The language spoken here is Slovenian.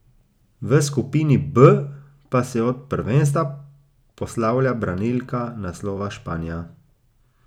V skupini B pa se od prvenstva poslavlja branilka naslova Španija.